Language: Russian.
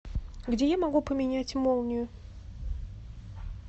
где я могу поменять молнию